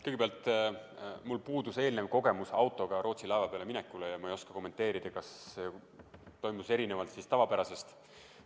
Kõigepealt, mul puudus eelnev autoga Rootsi laeva peale minemise kogemus ja ma ei oska kommenteerida, kas see toimus tavapärasest erinevalt.